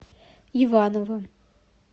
иваново